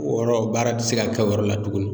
O yɔrɔ baara ti se ka kɛ o yɔrɔ la tuguni